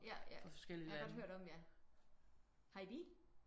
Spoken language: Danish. Ja ja jeg har godt hørt om det ja. Har I bil?